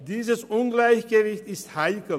Dieses Ungleichgewicht ist heikel.